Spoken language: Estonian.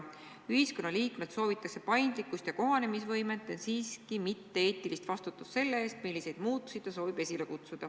Ühiskonna liikmelt soovitakse paindlikkust ja kohanemisvõimet, ent mitte eetilist vastutust selle ees, milliseid muutusi ta ise esile kutsub.